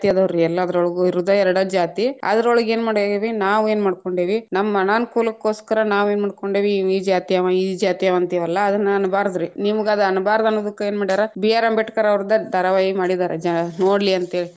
ಅದಾವರ್ರೀ ಎಲ್ಲಾದ್ರೋಳಗು ಇರುದ್‌ ಎರಡ ಜಾತಿ, ಅದರೊಳಗ್‌ ಏನ್‌ ಮಾಡೇವಿ ನಾವ್‌ ಏನ್‌ ಮಾಡ್ಕೊಂಡಿವಿ ನಮ್ಮ ಅನಾನುಕೂಲಕ್ಕೋಸ್ಕರ ನಾವೇನ್‌ ಮಾಡ್ಕೊಂಡೇವಿ ಇವ ಈ ಜಾತಿಯವ ಇವ ಈ ಜಾತಿಯವಂತಿವಲ್ಲಾ ಅದನ್‌ ಅನಬಾರದ್ರಿ, ನಿಮಗದ ಅನಬಾರದ ಅನ್ನುದಕ್ಕ ಏನ್‌ ಮಾಡ್ಯಾರ ಬಿ ಆರ್‌ ಅಂಬೇಡ್ಕರ್‌ ಅವ್ರ್ದ ಧಾರಾವಾಹಿ ಮಾಡೀದಾರ ಜನ ನೋಡ್ಲಿ ಅಂತ ಹೇಳಿ.